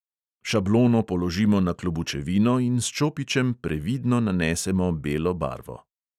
Šablono položimo na klobučevino in s čopičem previdno nanesemo belo barvo.